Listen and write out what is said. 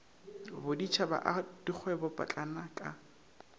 boditšhaba a dikgwebo potlana ka